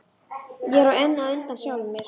Ég er enn á undan sjálfum mér.